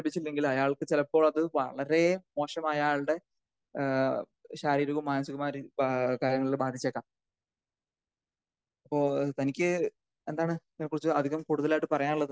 ലഭിച്ചില്ലെങ്കിൽ അയാൾക്ക് ചിലപ്പോൾ അത് വളരെ മോശമായ അയാളുടെ ഏഹ്‌ ശാരീരികവും മാനസികാവുമായുള്ള രീതിയിൽ കാര്യങ്ങളിൽ ഒക്കെ ബാധിച്ചേക്കാം. ഇപ്പൊ തനിക്ക് എന്താണ് ഇതിനെ കുറിച്ച് അതിലും കൂടുതലായിട്ട് പറയാനുള്ളത്?